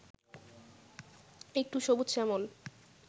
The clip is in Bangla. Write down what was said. একটু সবুজ-শ্যামল